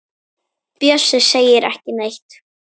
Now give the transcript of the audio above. Bjössi segir ekki neitt.